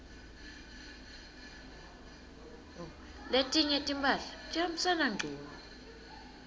letinye timphahla tihambisana ngcunu